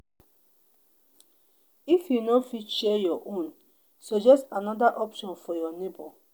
if you no fit share your own suggest another option for your neighbor